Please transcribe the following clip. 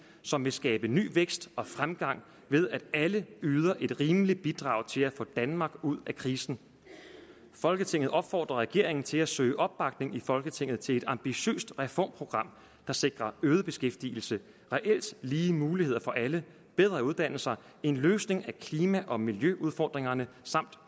som vil skabe ny vækst og fremgang ved at alle yder et rimeligt bidrag til at få danmark ud af krisen folketinget opfordrer regeringen til at søge opbakning i folketinget til et ambitiøst reformprogram der sikrer øget beskæftigelse reelt lige muligheder for alle bedre uddannelser en løsning af klima og miljøudfordringerne samt